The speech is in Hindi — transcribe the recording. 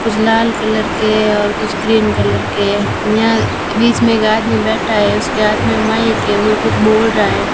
कुछ लाल कलर के हैं और कुछ ग्रीन कलर के हैं यहां बीच में एक आदमी बैठा है उसके हाथ में माइक है वो कुछ बोल रहा है।